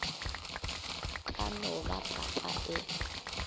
ka no ba papa e